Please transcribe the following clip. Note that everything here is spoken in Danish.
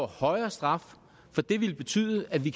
højere straf for det ville betyde at vi